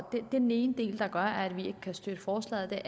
det er den ene ting der gør at vi ikke kan støtte forslaget